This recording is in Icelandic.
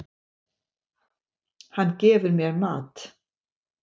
Hann gefur mér mat.